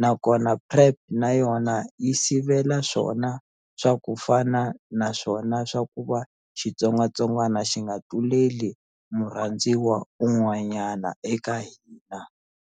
nakona PrEP na yona yi sivela swona swa ku fana naswona swa ku va xitsongwatsongwana xi nga tluleli murhandziwa un'wanyana eka hina.